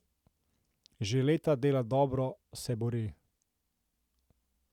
Že leta dela dobro, se bori.